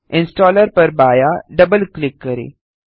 installer पर बायाँ double click करें